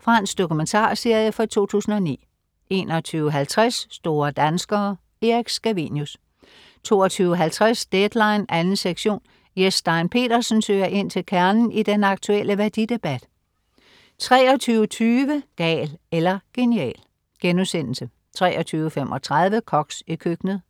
Fransk dokumentarserie fra 2009 21.50 Store danskere. Erik Scavenius 22.50 Deadline 2. sektion. Jes Stein Pedersen søger ind til kernen i den aktuelle værdidebat 23.20 Gal eller genial* 23.35 Koks i køkkenet*